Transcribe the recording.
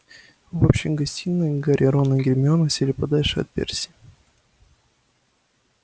в общей гостиной гарри рон и гермиона сели подальше от перси